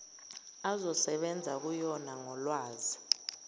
azosebenza kuyona ngolwazi